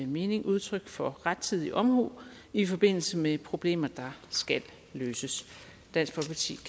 mening udtryk for rettidig omhu i forbindelse med problemer der skal løses dansk